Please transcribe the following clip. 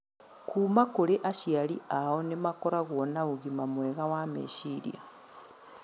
kuma kũrĩ aciari ao nĩ makoragwo na ũgima mwega wa meciria.